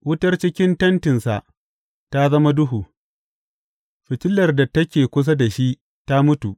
Wutar cikin tentinsa ta zama duhu; fitilar da take kusa da shi ta mutu.